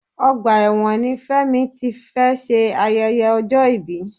Ọgbà ẹ̀wọ̀n ni Fẹ́mi ti fé ṣe ayẹyẹ ọjọ́ ibi